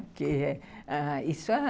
Porque isso é...